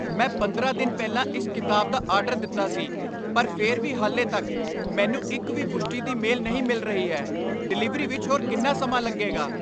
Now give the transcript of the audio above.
ਮੈਂ ਪੰਦਰਾਂ ਦਿਨ ਪਹਿਲਾਂ ਇਸ ਕਿਤਾਬ ਦਾ ਆਰਡਰ ਦਿੱਤਾ ਸੀ ਪਰ ਫਿਰ ਵੀ ਹਾਲੇ ਤਕ ਮੈਨੂੰ ਇੱਕ ਵੀ ਪੁਸ਼ਟੀ ਦੀ ਮੇਲ ਨਹੀਂ ਮਿਲ ਰਹੀ ਹੈ। ਡਿਲਿਵਰੀ ਵਿੱਚ ਹੋਰ ਕਿੰਨਾ ਸਮਾਂ ਲੱਗੇਗਾ?